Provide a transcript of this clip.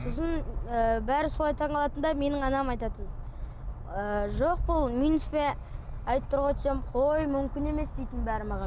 сосын ы бәрі солай таңғалатын да менің анам айтатын ы жоқ бұл минуспен айтып тұр ғой десем қой мүмкін емес дейтін бәрі маған